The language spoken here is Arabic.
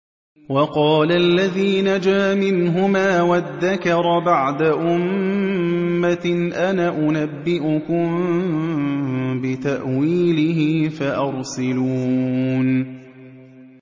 وَقَالَ الَّذِي نَجَا مِنْهُمَا وَادَّكَرَ بَعْدَ أُمَّةٍ أَنَا أُنَبِّئُكُم بِتَأْوِيلِهِ فَأَرْسِلُونِ